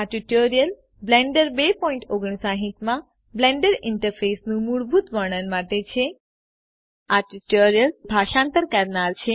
આ tutorial Blender 259 માં Blender ઇન્ટરફેસનું મૂળભૂત વર્ણન માટે છે